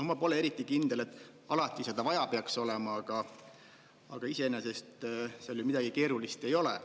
Ma pole eriti kindel, et alati seda vaja peaks olema, aga iseenesest seal ju midagi keerulist ei ole.